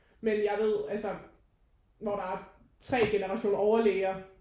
Men jeg ved altså hvor der er 3 generationer overlæger